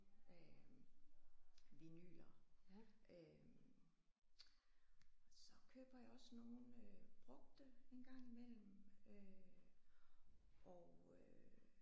Øh vinyler øh så køber jeg også nogle brugte engang imellem øh og øh